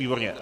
Výborně.